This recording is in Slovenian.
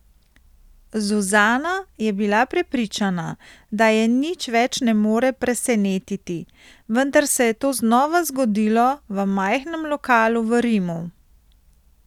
Zuzana je bila prepričana, da je nič več ne more presenetiti, vendar se je to znova zgodilo v majhnem lokalu v Rimu.